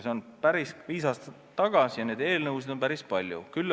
See oli viis aastat tagasi ja meisse puutuvaid eelnõusid on päris palju olnud.